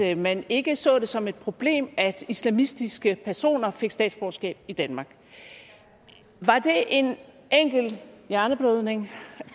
at man ikke så det som et problem at islamistiske personer fik statsborgerskab i danmark var det en enkelt hjerneblødning